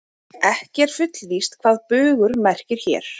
Ekki er fullvíst hvað bugur merkir hér.